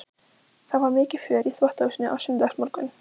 Það var mikið fjör í þvottahúsinu á sunnudagsmorgnum.